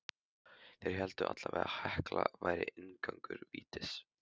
Þeir héldu allavega að Hekla væri inngangur vítis.